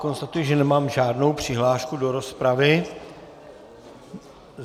Konstatuji, že nemám žádnou přihlášku do rozpravy.